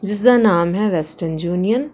ਇਸਦਾ ਨਾਮ ਹੈ ਵੈਸਟਰਨ ਯੂਨੀਅਨ ।